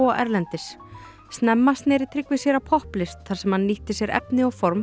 erlendis snemma sneri Tryggvi sér að þar sem hann nýtti sér efni og form